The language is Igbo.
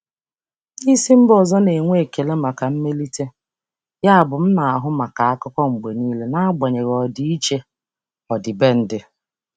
Ndị oga si mba ọzọ na-enwe ekele maka mmelite, yabụ ana m ahụ na akụkọ mgbe niile n'agbanyeghị ọdịiche omenala.